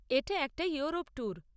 এটা একটা Europe tour.